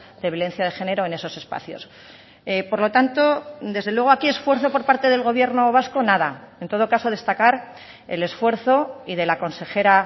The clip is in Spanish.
de violencia de género en esos espacios por lo tanto desde luego aquí esfuerzo por parte del gobierno vasco nada en todo caso destacar el esfuerzo y de la consejera